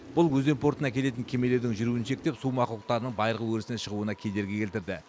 бұл өзен портына келетін кемелердің жүруін шектеп су мақұлықтарының байырғы өрісіне шығуына кедергі келтірді